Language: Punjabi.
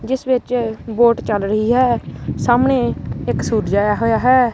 ਜਿੱਸ ਵਿੱਚ ਬੋਟ ਚੱਲ ਰਹੀ ਹੈ ਸਾਹਮਣੇ ਇੱਕ ਸੂਰਜ ਆਇਆ ਹੋਇਆ ਹੈ।